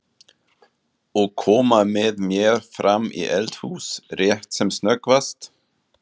Og koma með mér fram í eldhús rétt sem snöggvast?